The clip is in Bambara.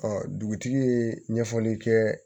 dugutigi ye ɲɛfɔli kɛ